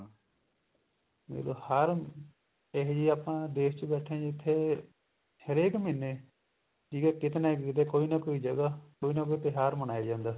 ਜਦੋਂ ਹਰ ਇਹੀ ਜਿਹੀ ਆਪਾਂ ਨੂੰ ਦੇਸ਼ ਚ ਬੈਠੇ ਅਨ ਜਿੱਥੇ ਹਰੇਕ ਮਹੀਨੇ ਠੀਕ ਏ ਕੀਤੇ ਨਾ ਕੀਤੇ ਕੋਈ ਨਾ ਕੋਈ ਜਗ੍ਹਾ ਕੋਈ ਨਾ ਕੋਈ ਤਿਉਹਾਰ ਮਨਾਇਆ ਜਾਂਦਾ